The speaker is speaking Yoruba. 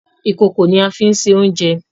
Ìkòkò ni a máa fín ṣe oúnjẹ.